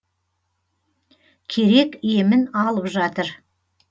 керек емін алып жатыр